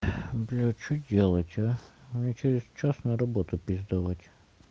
а бля что делать а мне через час на работу пиздовать